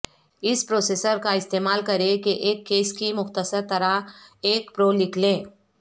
اس processor کا استعمال کریں کہ ایک کیس کی مختصر طرح ایک پرو لکھ لیں